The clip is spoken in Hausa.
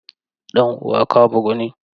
Dan uwa ka bugu ne?